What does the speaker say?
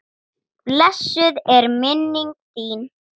Blessuð er minning þín.